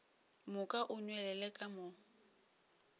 moka o nwelele ka mo